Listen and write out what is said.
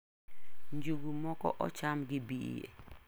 Njugu moko ocham gi bie.